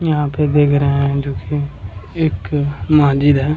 यहाँ पे देख रहे है जो कि एक महजिद है।